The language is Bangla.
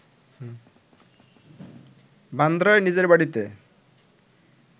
বান্দ্রায় নিজের বাড়িতে